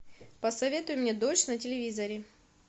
посоветуй мне дождь на телевизоре